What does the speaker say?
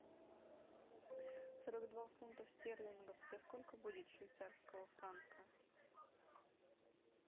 сорок два фунтов стерлингов это сколько будет швейцарского франка